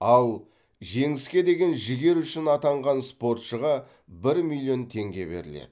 ал жеңіске деген жігері үшін атанған спортшыға бір миллион теңге беріледі